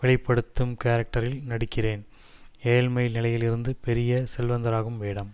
வெளி படுத்தும் கேரக்டரில் நடிக்கிறேன் ஏழ்மை நிலையிலிருந்து பெரிய செல்வந்தராகும் வேடம்